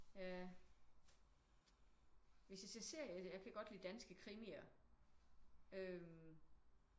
Ja hvis jeg ser serie jeg kan godt lide danske krimier øh